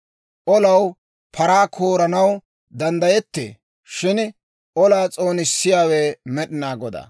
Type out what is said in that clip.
Olaw paraa kooranaw danddayettee; shin olaa s'oonissiyaawe Med'inaa Godaa.